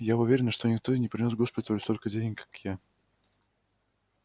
я уверена что никто и не принёс госпиталю столько денег как я